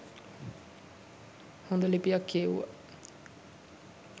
හොඳ ලිපියක් කියෙව්වා.